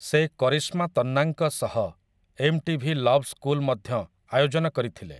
ସେ କରିଶ୍ମା ତନ୍ନାଙ୍କ ସହ ଏମ୍ଟିଭି ଲଭ୍ ସ୍କୁଲ୍‌ ମଧ୍ୟ ଆୟୋଜନ କରିଥିଲେ ।